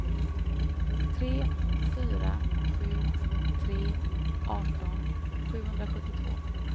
tre fyra sju tre arton sjuhundrasjuttiotvå